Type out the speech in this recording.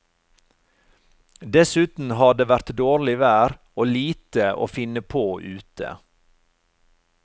Dessuten har det vært dårlig vær og lite å finne på ute.